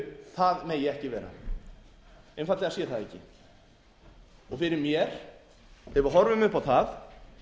það megi ekki vera einfaldlega sé það ekki fyrir mér þegar við horfum upp á það